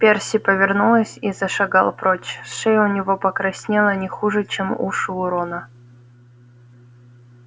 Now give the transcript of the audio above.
перси повернулся и зашагал прочь шея у него покраснела не хуже чем уши у рона